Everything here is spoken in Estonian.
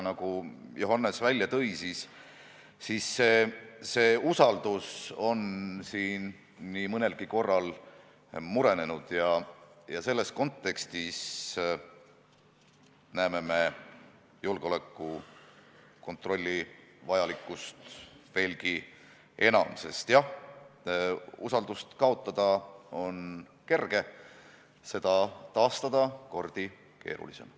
Nagu Johannes ütles, see usaldus on nii mõnelgi korral murenenud ja selles kontekstis näeme me julgeolekukontrolli vajalikkust veelgi enam, sest jah, usaldust kaotada on kerge, aga seda taastada on kordi keerulisem.